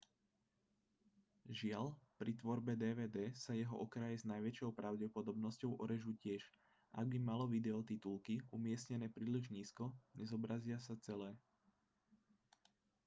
žiaľ pri tvorbe dvd sa jeho okraje s najväčšou pravdepodobnosťou orežú tiež ak by malo video titulky umiestnené príliš nízko nezobrazia sa celé